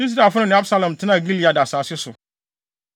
Israelfo no ne Absalom tenaa Gilead asase so.